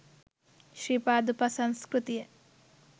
Sri Pada උපසංස්කෘතිය.